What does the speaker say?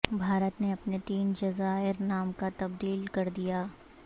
بھارت نے اپنے تین جزائر نام کا تبدیل کر دیا